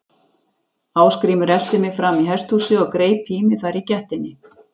Ásgrímur elti mig fram í hesthúsið og greip í mig þar í gættinni.